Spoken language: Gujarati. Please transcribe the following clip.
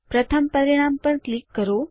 પ્રથમ પરિણામ પર ક્લિક કરો